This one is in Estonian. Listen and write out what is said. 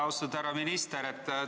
Austatud härra minister!